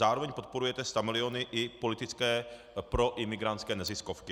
Zároveň podporujete stamiliony i politické pro imigrantské neziskovky.